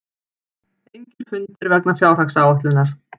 Engir fundir vegna fjárhagsáætlunar